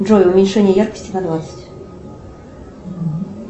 джой уменьшение яркости на двадцать